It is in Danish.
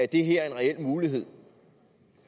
det her er en reel mulighed